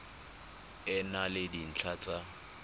e na le dintlha tsa